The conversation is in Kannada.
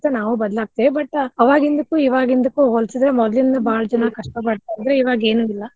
ನಾವು ಬದ್ಲಾಗ್ತೇವಿ but ಅವಾಗಿಂದುಕ್ಕು ಈವಾಗಿಂದುಕ್ಕು ಹೋಲ್ಸಿದ್ರ ಮೊದ್ಲಿನ ಬಾಳ ಜನಾ ಕಷ್ಟಾ ಅಂದ್ರ ಇವಾಗ ಏನು ಇಲ್ಲಾ.